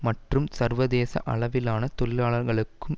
மற்றும் சர்வதேச அளவிலான தொழிலாளர்களுக்கும்